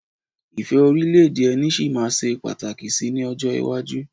Ìfẹ́ orílẹ̀ èdè ẹni sì máa ṣe pàtàkì síi ní ọjọ́ iwájú.